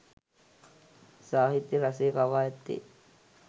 සාහිත්‍ය රසය කවා ඇත්තේ